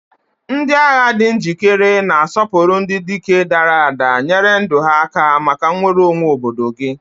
Ndị agha di njikere, na-asọpụrụ ndị dike dara ada nyere ndụ ha maka nnwere onwe obodo gị.